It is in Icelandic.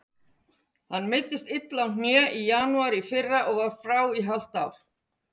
Hann meiddist illa á hné í janúar í fyrra og var frá í hálft ár.